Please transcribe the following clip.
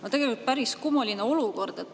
No tegelikult päris kummaline olukord.